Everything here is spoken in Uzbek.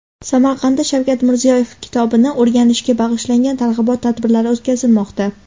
Samarqandda Shavkat Mirziyoyev kitobini o‘rganishga bag‘ishlangan targ‘ibot tadbirlari o‘tkazilmoqda.